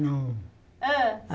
Não. Hã